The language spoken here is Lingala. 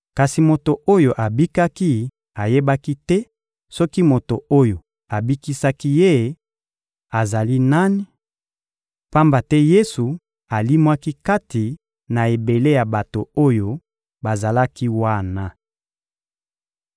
Kasi moto oyo abikaki ayebaki te soki moto oyo abikisaki ye azali nani, pamba te Yesu alimwaki kati na ebele ya bato oyo bazalaki wana.